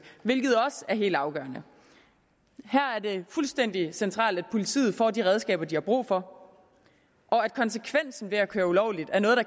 hvilket også er helt afgørende her er det fuldstændig centralt at politiet får de redskaber de har brug for og at konsekvensen ved at køre ulovligt